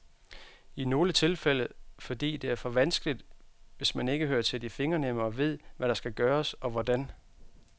I nogle tilfælde fordi det er for vanskeligt, hvis man ikke hører til de fingernemme og ved, hvad der skal gøres, og hvordan.